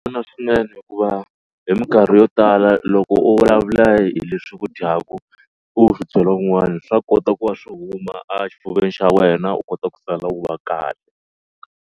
swinene hikuva hi mikarhi yo tala loko u vulavula hi leswi ku dyaku u swi byela un'wana swa kota ku va swi huma a xifuveni xa wena u kota ku sala u va kahle.